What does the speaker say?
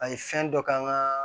An ye fɛn dɔ k'an ka